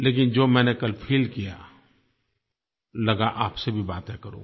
लेकिन जो मैंने कल फील किया लगा आपसे भी बातें करूँ